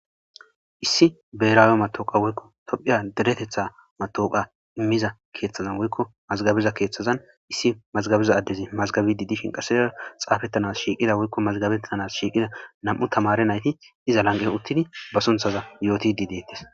issi beeraawe matooqa woykko tophiya deretetha matooqa immiza keeththazan woykko mazgabiza keeththazan issi mazgabiza addezi mazgabi didishin qasedera xaafettanas shiiqida woykko mazgabettanas shiiqida nam7u tamare nayti iza lanqen uttin ba sunthaza yooti di deettis